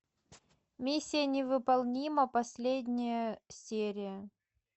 миссия невыполнима последняя серия